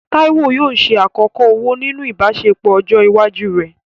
Taiwo yóò ṣe àkọ́kọ́ ọ̀wọ̀ nínú ìbáṣepọ̀ ọjọ́ iwájú rẹ̀.